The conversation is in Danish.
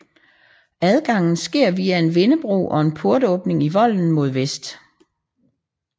Adgangen sker via en vindebro og en portåbning i volden mod vest